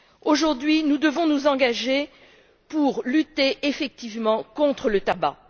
Aujourd'hui, nous devons nous engager pour lutter effectivement contre le tabac.